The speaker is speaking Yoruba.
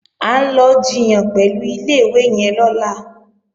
À ń lọ jiyàn pẹ̀lú ilé-ìwé yẹn lọ́la